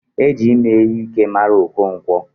E ji ime ihe Ike mara Okonkwo.